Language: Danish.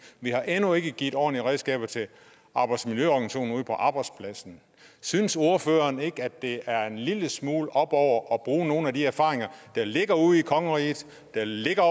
vi har endnu ikke givet ordentlige redskaber til arbejdsmiljøorganisationerne ude arbejdspladserne synes ordføreren ikke at det er at en lille smule oppe over at bruge nogle af de erfaringer der ligger ude i kongeriget der ligger